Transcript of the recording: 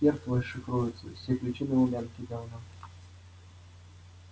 хер твой шифруется все ключи на лубянке давно